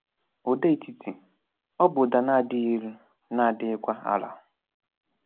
Ụda Etiti: Ọ bụ ụda na-adịghị elu, na-adịghịkwa àlà